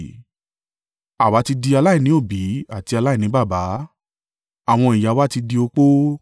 Àwa ti di aláìní òbí àti aláìní baba, àwọn ìyá wa ti di opó.